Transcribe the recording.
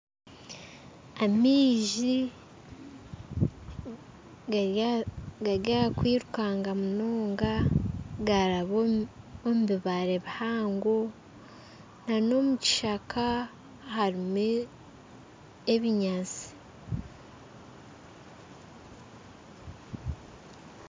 Amaizi gari aha kwirukaanga munonga gaaraba omu bibaare bihango n'omukishaka harimu ebinyatsi